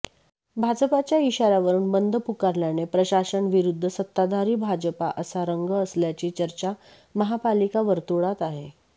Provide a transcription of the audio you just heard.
भाजपाच्या इशार्यावरून बंद पुकारल्याने प्रशासन विरुद्ध सत्ताधारी भाजपा असा रंग असल्याची चर्चा महापालिका वर्तुळात आहे